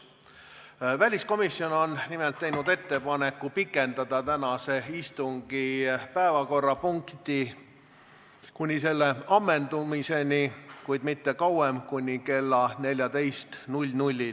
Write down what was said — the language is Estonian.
Nimelt on väliskomisjon teinud ettepaneku pikendada tänase istungi päevakorrapunkti käsitlemist kuni selle ammendumiseni, kuid mitte kauem kui kella 14-ni.